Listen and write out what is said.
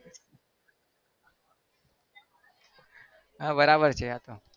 હા બરાબર છે આ તો